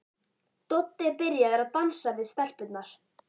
Doddi er byrjaður að dansa við stelpurnar.